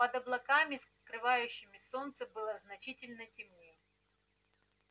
под облаками скрывающими солнце было значительно темнее